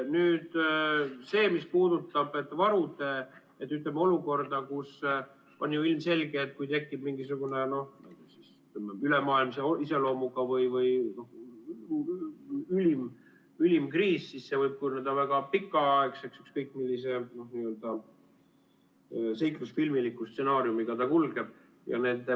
Nüüd see, mis puudutab varude olukorda, on ju ilmselge, et kui tekib mingisugune ülemaailmse iseloomuga või ülim kriis, siis see võib kujuneda väga pikaaegseks, ükskõik millise seiklusfilmiliku stsenaariumiga ta kulgeb.